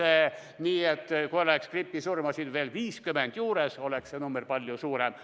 Kui oleks meil veel 50 gripisurma, oleks see number palju suurem.